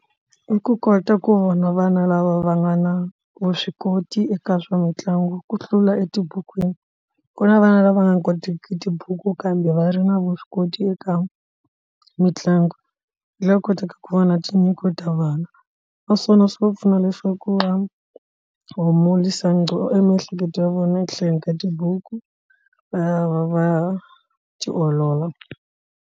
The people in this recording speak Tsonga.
I ku kota ku vona vana lava va nga na vuswikoti eka swa mitlangu ku hlula etibukwini ku na vana lava nga kotiki tibuku kambe va ri na vuswikoti eka mitlangu loyi a kotaka ku vona tinyiko ta vana naswona swi va pfuna leswaku va miehleketo ya vona etlhelo ka tibuku va ya va ya tiolola.